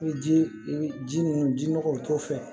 I ji i ji ninnu ji nɔgɔw t'o fɛ